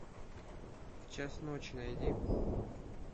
в час ночи найди